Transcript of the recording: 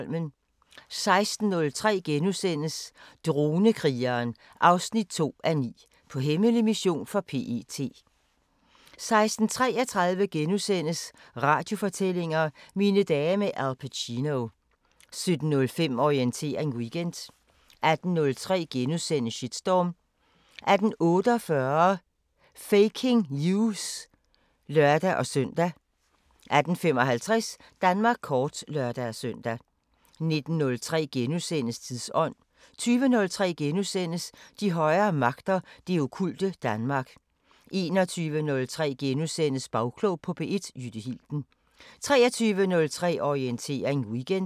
16:03: Dronekrigeren 2:9 – På hemmelig mission for PET * 16:33: Radiofortællinger: Mine dage med Al Pacino * 17:05: Orientering Weekend 18:03: Shitstorm * 18:48: Faking News! (lør-søn) 18:55: Danmark kort (lør-søn) 19:03: Tidsånd * 20:03: De højere magter: Det okkulte Danmark * 21:03: Bagklog på P1: Jytte Hilden * 23:03: Orientering Weekend